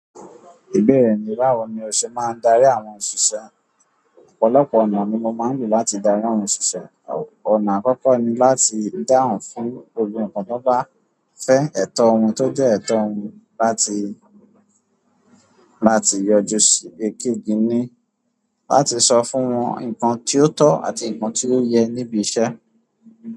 Ìbéèrè ni, báwo ni o ṣe máa ń darí àwọn òṣìṣẹ́? Ọ̀pọ̀lọpọ̀ ọ̀nà ni mo máa ń lò láti darí àwọn òṣìṣẹ́. Ọ̀nà àkọ́kọ́ ni láti dáhùn si gbogbo nkan ti won bá fẹ́, ètò wọ̀n tó jẹ́ ètò wọ̀n, láti, láti yọjú sí. Ekeji ni láti so fún won nkan ti o to àti nkan ti o ye.